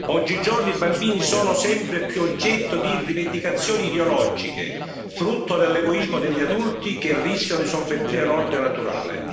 Oggigiorno, i bambini sono sempre più oggetto di rivendicazioni ideologiche, frutto dell'egoismo degli adulti che rischiano di sovvertire l'ordine naturale.